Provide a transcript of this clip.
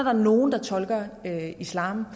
er nogle der tolker islam